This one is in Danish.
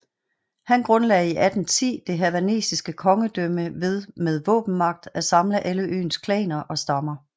Han grundlagde i 1810 det hawaiianske kongedømme ved med våbenmagt at samle alle øens klaner og stammer